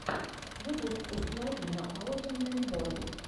ютюб установи ноаодинэмбот